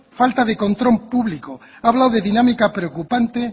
falta de control público habla de dinámica preocupante